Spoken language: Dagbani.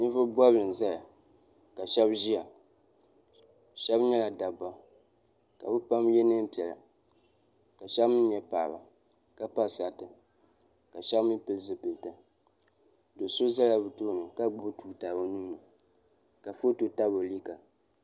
nivugi bɔbili n zaya ka shɛbi ʒɛya shɛbi nyɛla daba ka be pam yɛ nɛnpiɛlla ka shɛbi mi nyɛ paɣ' ba ka pa saritɛ ka shɛbi mi pɛli zupɛlitɛ doso zaya be tuuni ka gbabi tuuta o nuuni ka ƒɔto tabi o liga